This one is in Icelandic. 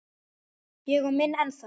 Ég á minn ennþá.